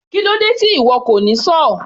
Kílódé tí ìwo kò ní sọ́ọ̀?